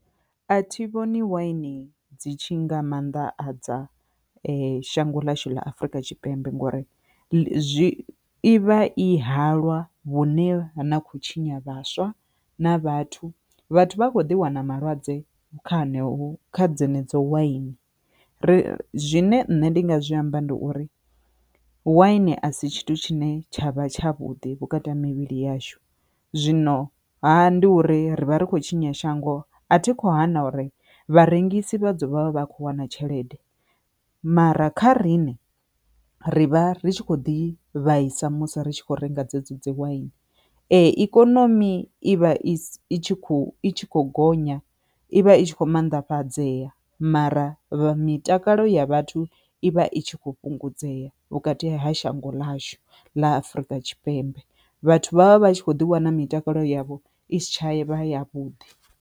A thi vhoni waini dzi tshi nga maanḓa adza shango ḽashu ḽa Afrika Tshipembe nga uri zwi i vha i halwa vhune ha na khou tshinya vhaswa na vhathu, vhathu vha a kho ḓi wana malwadze kha heneyo kha dze ne dzo waini ri zwine nṋe ndi nga zwi amba ndi uri wine asi tshithu tshine tshavha tshavhuḓi vhukati ha mivhili yashu, zwino ha ndi uri rivha ri khou tshinya shango a thi kho hana uri vharengisi vha ḓovha vha kho wana tshelede mara kha riṋe ri vha ri tshi khou ḓi vhaisa musi ri tshi khou renga dzedzi waini, ikonomi i vha i i tshi khou i tshi khou gonya ivha i tshi kho mannḓafhadzea mara vha mitakalo ya vhathu ivha i tshi kho fhungudzea vhukati ha shango ḽashu ḽa Afurika Tshipembe vhathu vha vha vha tshi kho ḓi wana mitakalo yavho i si tsha ye vha ya vhuḓi.